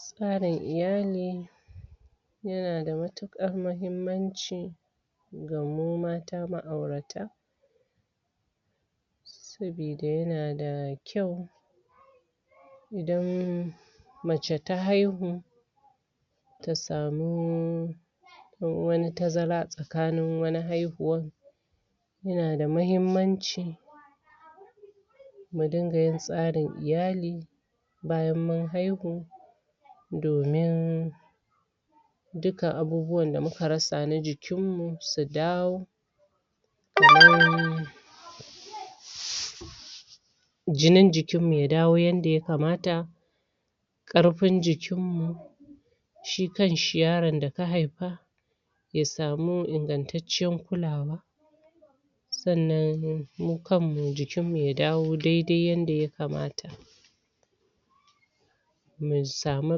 Tsara iyali yana da matukar mahimanci ga mu mata, ma'aurata sabida, yana da kyau idan mace ta haihu ta samu wani tazara tsakanin haihuwan yana da mahimanci mu dinga yin tsarin iyali bayan mun haihu domin duka abubuwan da muka rasa na jikin mu, su dawo kaman jinin jikin mu, ya dawo yada ya kamata karfin jikin mu shi kan shi yaron da ka haifa ya samu ingan'tancen kula wa sanan, mu kanmu, jikin mu ya dawo dai dai, yada ya kamata mu sami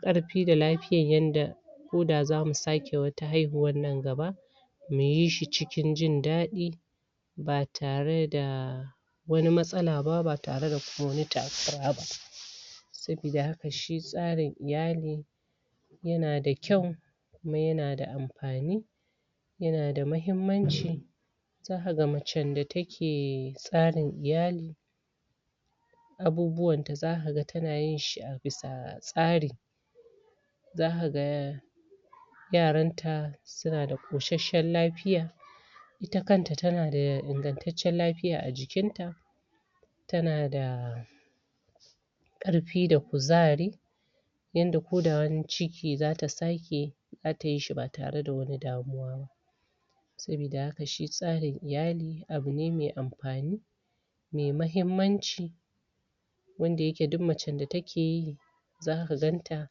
karfi da lafiyan yada ko da za mu sake wata haihuwan nan gaba mu yi shi cikin jin dadi ba tare da wani masala ba, ba tare da wani kuma takura ba sabida haka shi tsarin iyali yana da kyau kuma yana da amfani yana da mahimanci za ka gan, mace da take tsarin iyali abubuwan ta, za ka gan tana yi a bisa tsari za ka gan yaran ta suna da kosheshan lafiya ita kanta, ta na da ingan'tancen lafiya a jikin ta ta na da yada ko da wani ciki za ta sake yi za ta yi shi ba tare da wani damuwa ba sabida haka shi tsarin iyali abu ne mai amfani mai mahimanci wanda ya ke duk macen da take yi za ka gan ta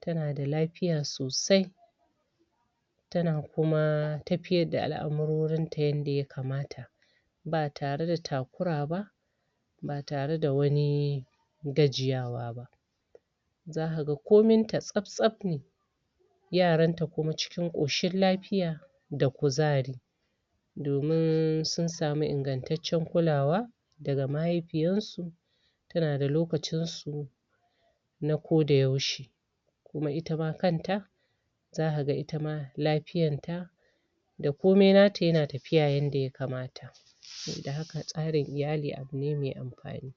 tana da lafiya sosai tana kuma tafiyar da al'amurorin ta yada ya kamata ba tare da takura ba ba tare da wani gajiyawa ba za ka gan komin ta tsap tsap ne yaran ta kuma cikin koshin lafiya da kuzari domin sun samu ingan'tancen kula wa da ga mahaifiyar su tana da lokacin su na koda yaushe kuma ita ma kan ta za ka gan ita ma, lafiyan ta da komai nata yana tafiya, yada ya kamata sabida haka, tsarin iyali, abu ne mai amfani